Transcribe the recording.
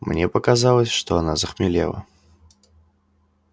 мне показалось что она захмелела